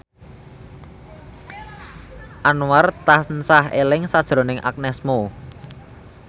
Anwar tansah eling sakjroning Agnes Mo